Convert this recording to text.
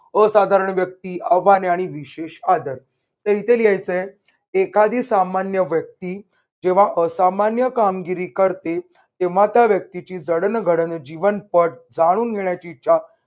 असाधारण व्यक्ती आव्हाने आणि विशेष आदर, तर इथे लिहायचंय. एखादी सामान्य व्यक्ती जेव्हा असामान्य कामगिरी करते तेव्हा त्या व्यक्तीची जडणघडण जीवन पट जाणून घेण्याची इच्छा